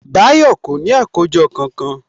Báyọ̀ kò ní àkójọ kankan